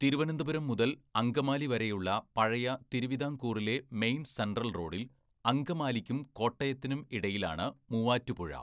തിരുവനന്തപുരം മുതൽ അങ്കമാലി വരെയുള്ള പഴയ തിരുവിതാംകൂറിലെ മെയിൻ സെൻട്രൽ റോഡിൽ അങ്കമാലിക്കും കോട്ടയത്തിനും ഇടയിലാണ് മൂവാറ്റുപുഴ.